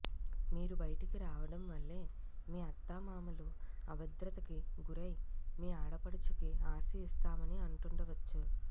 మీరు బయటికి రావడం వల్లే మీ అత్తమామలు అభద్రతకి గురై మీ ఆడపడుచుకి ఆస్తి ఇస్తామని అంటుండవచ్చు